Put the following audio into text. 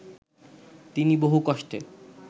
তিনি বহু কষ্টে